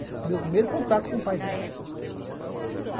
Isso foi o meu primeiro contato com o pai dela.